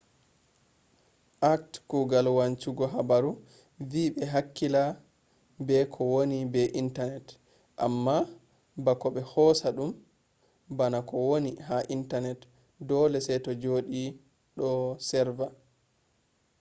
act kugal wancungo habaru vi be hakkila be ko woni ha internet amma bako be hosa dum bana ko woni ha internet dole se to jodi do serva